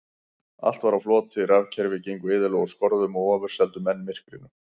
Allt var á floti, rafkerfi gengu iðulega úr skorðum og ofurseldu menn myrkrinu.